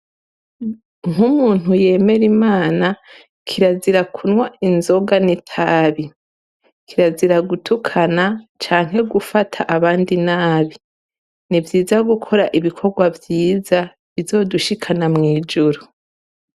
Nk'umuntu yemere imana kirazira kunwa inzoga netabi kiraziragutukana canke gufata abandi nabi ni vyiza gukora ibikorwa vyiza bizodushikana mw'ijuru.